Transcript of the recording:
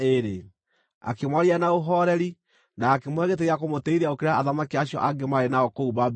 Akĩmwarĩria na ũhooreri na akĩmũhe gĩtĩ gĩa kũmũtĩĩithia gũkĩra athamaki acio angĩ maarĩ nao kũu Babuloni.